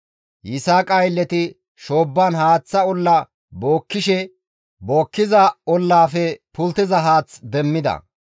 Yisaaqa aylleti shoobban haaththa olla bookkishe bookkiza ollaafe pulttiza haath demmida.